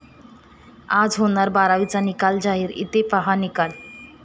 आज होणार बारावीचा निकाल जाहीर, इथं पाहा निकाल